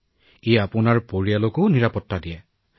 সকলোৱেই এই প্ৰতিষেধকৰ পালি গ্ৰহণ কৰা উচিত আৰু ই পৰিয়ালৰ বাবেও ভাল কথা